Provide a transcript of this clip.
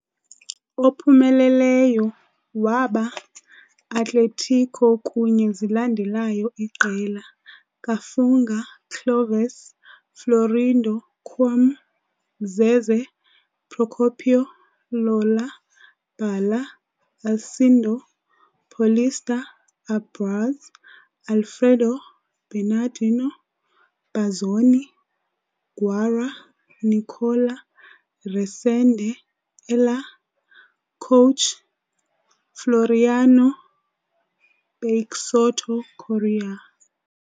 Ophumeleleyo waba Atlético kunye zilandelayo iqela- "Kafunga, Clóvis - Florindo, Quim - Zezé Procópio, Lola, Bala, Alcindo - Paulista, Abraz, Alfredo Bernardino, Bazzoni, Guará, Nicola, Resende, Elair" - Coach- "Floriano Peixoto Corrêa".